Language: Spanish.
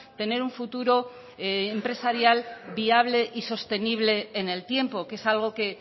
tener un futuro empresarial viable y sostenible en el tiempo que es algo que